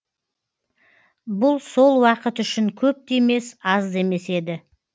бұл сол уақыт үшін көп те емес аз да емес еді